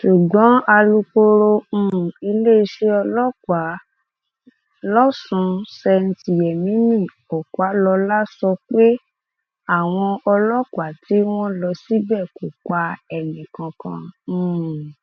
ṣùgbọn alūkkoro um iléeṣẹ ọlọpàá lọsùn st yemini ọpàlọlá sọ pé àwọn ọlọpàá tí wọn lọ síbẹ kò pa ẹnìkankan um